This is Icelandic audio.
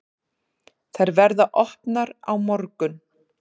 Þær verða opnar á morgun.